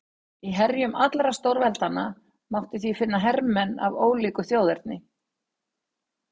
Í herjum allra stórveldanna mátti því finna hermenn af ólíku þjóðerni.